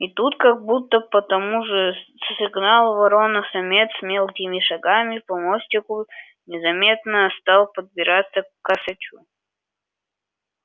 и тут как будто по тому же сигналу ворона-самец мелкими шагами по мостику незаметно стал подбираться к косачу